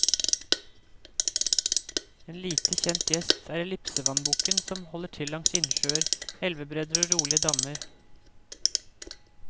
En lite kjent gjest er ellipsevannbukken, som holder til langs innsjøer, elvebredder og rolige dammer.